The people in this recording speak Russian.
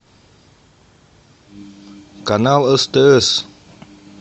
канал стс